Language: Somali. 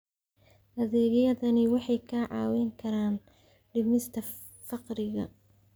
Adeegyadani waxay kaa caawin karaan dhimista faqriga.